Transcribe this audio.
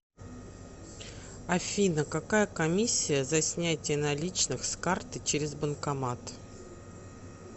афина какая комиссия за снятие наличных с карты через банкомат